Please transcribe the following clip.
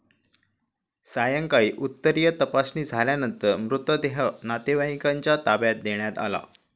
सायंकाळी उत्तरीय तपासणी झाल्यानंतर मृतदेह नातेवाईकांच्या ताब्यात देण्यात आला.